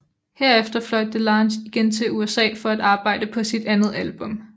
Herefter fløj DeLange igen til USA for at arbejde på sit andet album